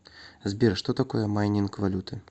сбер что такое майнинг валюты